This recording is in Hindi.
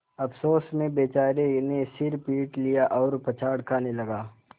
अफसोस में बेचारे ने सिर पीट लिया और पछाड़ खाने लगा